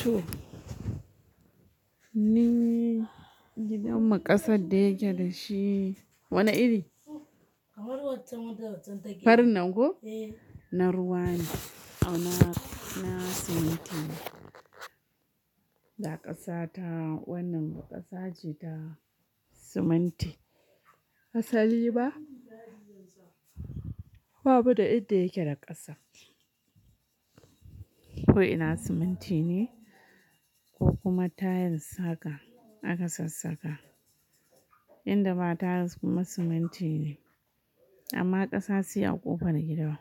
To ni gidanmu ƙasa da yake da shi. Wane iri? Farin nan ko? Na ruwa ne, amma na siminti. Da ƙasa ta wannan ba ƙasa ce da siminti. Asali ba, kuma ba mu da inda yake da ƙasa. Ko ina siminti ne ko kuma tiles haka aka sassaka. Inda ba tiles kuma siminti ne, amma ƙasa sai a ƙofar gida.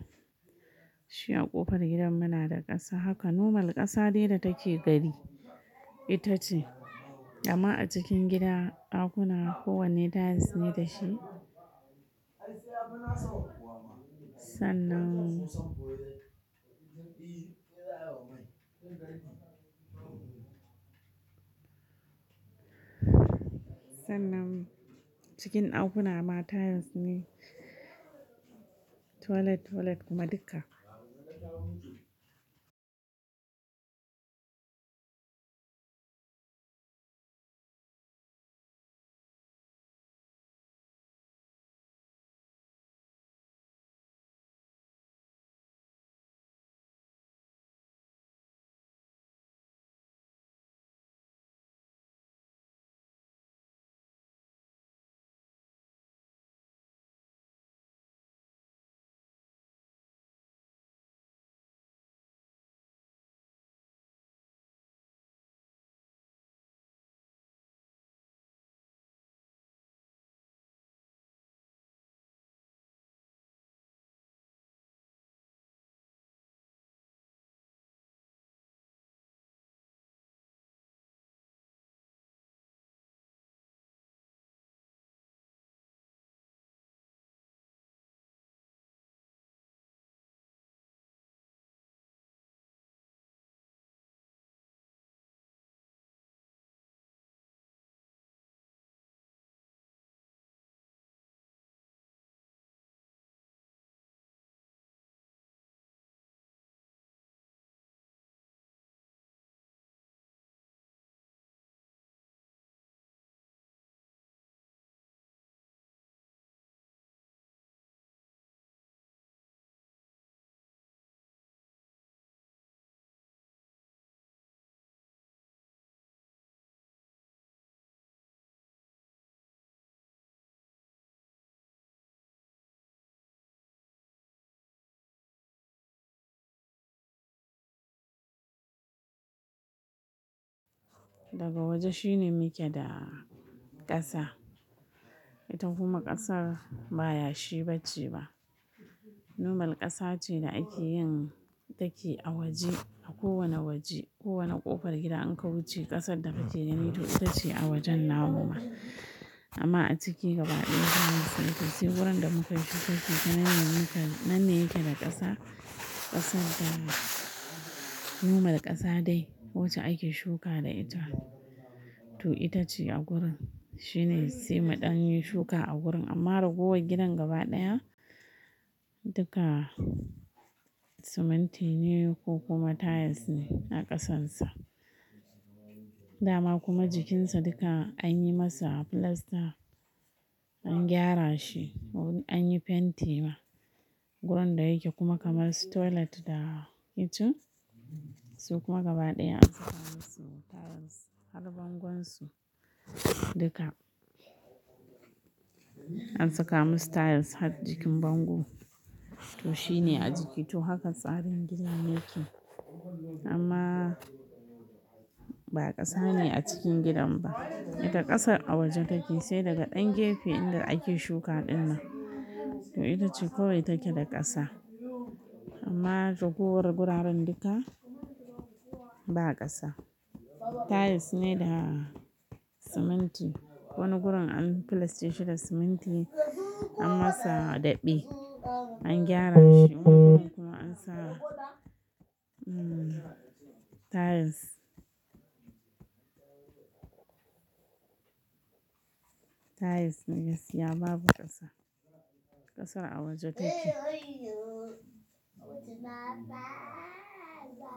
Shi a ƙofar gidan mu na da ƙasa, haka nomal ƙasa dai da take gari ita ce. Amma a cikin gida, ɗakuna kowanne tiles ne da shi. Sannan, sannan cikin ɗakuna ma tiles ne, toilet toilet kuma duka. Daga waje shi ne muke da ƙasa. Ita kuma ƙasar ba yashi ba ce ba. Normal ƙasa ce da ake yin take a waje, a kowane waje. Kowane ƙofar gida in ka wuce ƙasar da kake gani to ita ce a wajen namu ma. Amma a ciki gaba ɗaya zamu saki. Sai wurin da muka yi shuka ke nan ne yake da ƙasa. Ƙasar, normal ƙasa dai wacce ake shuka da ita. To ita ce a gurin. Shi ne sai mu ɗan yi shuka a gurin amma ragowar gidan gaba ɗaya duka siminti ne ko kuma tiles ne a ƙasarsa. Dama kuma jikinsa duka an yi masa plaster, an gyara shi an yi fenti ma. Wurin da yake kuma kamar su toilet da kitchen su kuma gaba ɗaya an saka musu tiles har bangon su duka. An saka musu tiles har jikin bango. To shi ne a jiki. To haka tsarin gidan yake. Amma ba ƙasa ne a cikin gidan ba. Ita ƙasar a waje take, sai daga ɗan gefe inda ake shuka ɗin nan. To ita ce kawai take da ƙasa. Amma ragowar guraren duka ba ƙasa. Tiles ne da siminti. Wani gurin an plaster shi da siminti an masa daɓi, an gyara shi kuma an sa tiles. Tiles ne gaskiya babu ƙasa. Ƙasar a waje take.